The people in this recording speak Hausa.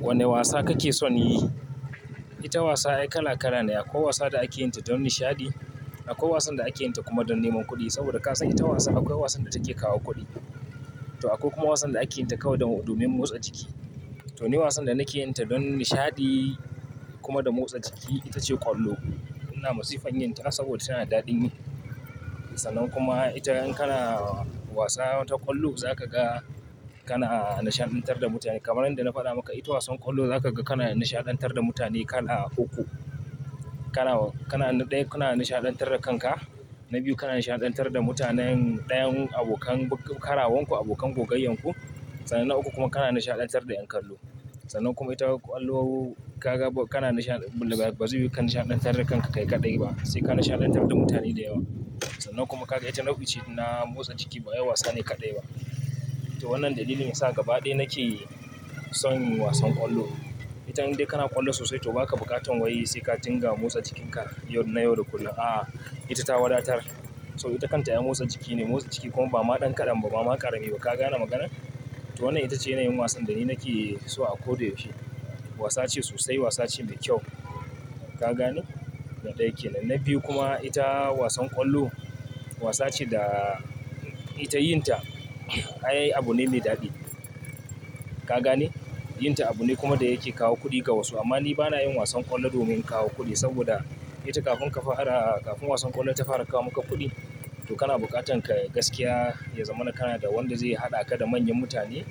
Wane wasa kake son yi? Ita wasa akwai kala kala ne. Akwai wasa da ake yinta don nishadi. Akwai wasan da ake yinta kuma don neman kuɗi. Saboda ka san ita wasa akwai wasan da take kawo kuɗi. To akwai kuma wasan da ake yinta kawai don, domin motsa jiki. To ni wasan da nake yinta don nishadi kuma dan motsa jiki ita ce ƙwallo. Ina masifan yinta saboda tana daɗin yi. Sanan kuma ita in kana wasa wata ƙwallo zaka ga kana nishaɗantar da mutane. Kamarin da na faɗa maka, ita wasan ƙwallo zaka ga kana nishaɗantar da mutane kala uku. Kana, kana na ɗaya kana nishaɗantar da kanka. Na biyu kana nishaɗantar da mutanen, ɗayan abokan karawanku, abokan kogayyan ku. Sannan na uku kuma kana nishaɗantar da ƴan kallu. Sannan kuma ita ƙwallo kaga kana nishaɗ, bazai yiwu ka nishaɗantar da kanka kai kaɗai ba. Sai ka nishaɗantar da mutane da yawa. Sannan kuma kaga ita nau'i ce na motsa jiki. Bai wasa ne kaɗai ba. To wannan dalilin yasa gaba ɗaya nake son wasan ƙwallo. Ita indai kana ƙwallo sosai to baka buƙatan way sai ka dinga motsa jikinka yau, na yau da kullum. Aa, ita ta wadatar. So ita kanta ai motsa jiki ne, motsa jiki kuma ba ma ɗan ƙadan ba, ba ma ƙarami ba. Ka gane maganar? To wannan ita ce yanayin wasan da ni nake so a ko da yaushe Wasa ce sosai. Wasa ce mai kyau. Ka gane? Na ɗaya ke nan. Na biyu kuma ita wasan ƙwallo wasa ce da ita yinta ai abune mai daɗi. Ka gane? Yinta abu ne kuma da yake kawo kuɗi ga wasu. Amma ni bana yin wasan ƙwallo domin kawo kuɗi saboda ita kafin ka fara, kafin wasan ƙwallo ta fara kawo maka kuɗi to kana buƙatan ka gaskiya ya zama na Kanada wanda zai haɗa ka da manyan mutane,